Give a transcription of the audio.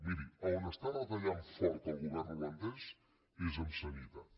miri a on està retallant fort el govern holandès és en sanitat